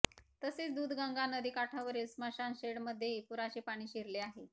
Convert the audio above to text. तसेच दूधगंगा नदीकाठावरील स्मशान शेडमध्येही पुराचे पाणी शिरले आहे